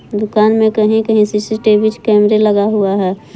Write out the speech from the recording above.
दुखा में कहीं कहीं सी_सी_टी_वी कैमरे लगा हुआ है।